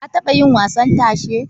Ka taɓa yin wasan tashe?